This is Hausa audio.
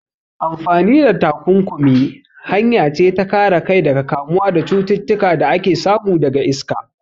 Amfani da takunkumi hanya ce ta kare kai daga kamuwa da cututtuka da ake samu daga iska.